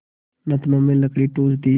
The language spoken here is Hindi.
नथनों में लकड़ी ठूँस दी